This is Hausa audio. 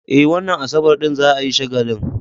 Eh, wannan Asabar din za a yi shagalin.